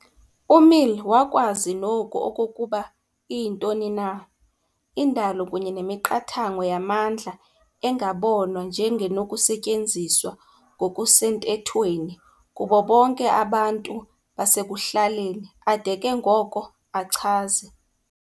UMill wakwazi noku okokuba iyintoni na "indalo kunye nemiqathango yamandla engabonwa njengenokusetyenziswa ngokusenthethweni kubo bonke abantu basekuhlaleni" ade ke ngoko, achaze